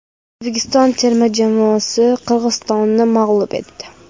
O‘zbekiston terma jamoasi Qirg‘izistonni mag‘lub etdi .